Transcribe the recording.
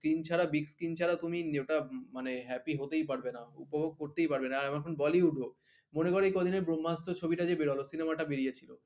screen ছারা big screen তুমি ওটা happy হতেই পারবে না উপভোগ করতেই পারবে না এখন bollywood ও মনে কর এ কদিনের ব্রহ্মাস্ত্র ছবিটা যে বেরোলো cinema টা বেরিয়ে ছিল